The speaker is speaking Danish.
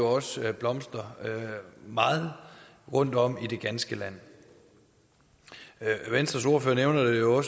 også blomstrer meget rundtom i det ganske land venstres ordfører nævner det jo